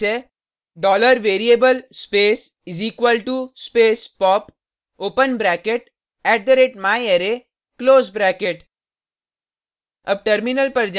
इसके लिए सिंटेक्स है $variable space = space pop open bracket @myarray close bracket